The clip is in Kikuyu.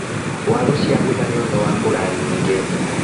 Waru ciabutha nĩũndũ wa mbura nyingĩ.